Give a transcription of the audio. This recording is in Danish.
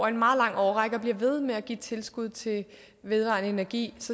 en meget lang årrække og blive ved med at give tilskud til vedvarende energi